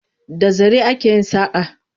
Da zare ake yin saƙa.